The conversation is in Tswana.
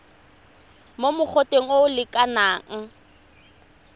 mo mogoteng o o lekanang